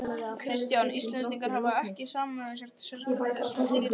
Kristján: Íslendingar hafa ekkert samið af sér gagnvart þessum fyrirtækjum?